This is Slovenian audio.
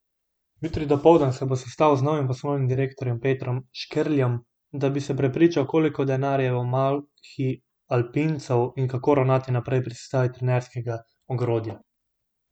Jutri dopoldan se bo sestal z novim poslovnim direktorjem Petrom Škerljem, da bi se prepričal, koliko denarja je v malhi alpincev in kako ravnati naprej pri sestavi trenerskega ogrodja.